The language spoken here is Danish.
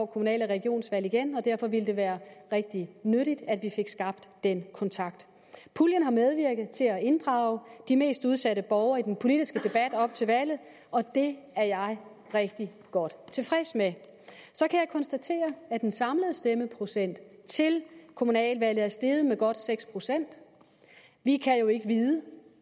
kommunal og regionsvalg igen og derfor ville det være rigtig nyttigt at vi fik skabt den kontakt puljen har medvirket til at inddrage de mest udsatte borgere i den politiske debat op til valget og det er jeg rigtig godt tilfreds med så kan jeg konstatere at den samlede stemmeprocent til kommunaludvalget er steget med godt seks procent vi kan jo ikke vide